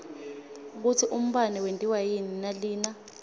kutsi umbane wentiwa yini nalina